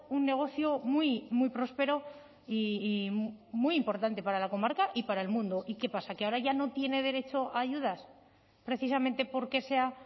un negocio muy muy próspero y muy importante para la comarca y para el mundo y qué pasa que ahora ya no tiene derecho a ayudas precisamente porque sea